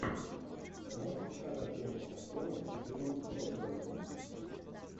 можешь показать ленту с актером джимом бродбентом